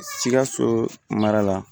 Sikaso mara la